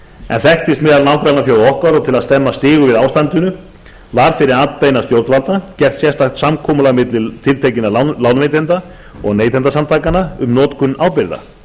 en þekktist meðal nágrannaþjóða okkar og til að stemma stigu við ástandinu var fyrir atbeina stjórnvalda gert sérstakt samkomulag milli tiltekinna lánveitenda og neytendasamtakanna um notkun ábyrgða